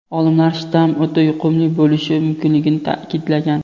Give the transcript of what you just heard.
olimlar shtamm o‘ta yuqumli bo‘lishi mumkinligini ta’kidlagan.